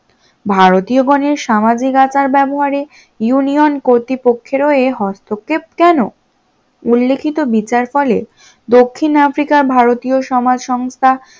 ভারতীয় গনের সামাজিক আচার ব্যবহারে union কর্তৃপক্ষের ও এ হস্তক্ষেপ কেন? উল্লেখিত বিচার ফলে দক্ষিণ আফ্রিকার ভারতীয় সমাজ সংস্থা